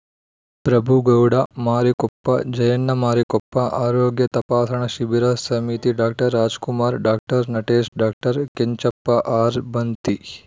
ಪ್ರಭುಗೌಡ ಮಾರಿಕೊಪ್ಪ ಜಯಣ್ಣ ಮಾರಿಕಪ್ಪ ಆರೋಗ್ಯ ತಪಾಸಣಾ ಶಿಬಿರ ಸಮಿತಿ doctor Rajkumar doctor Natesh doctor Kenchappa ಆರ್‌ಬಂತಿ